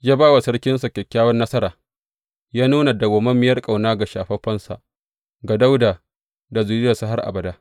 Ya ba wa sarkinsa kyakkyawan nasara; ya nuna madawwamiyar ƙauna ga shafaffensa, ga Dawuda da zuriyarsa har abada.